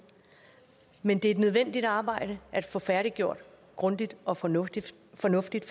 men det er et nødvendigt arbejde at få færdiggjort grundigt og fornuftigt fornuftigt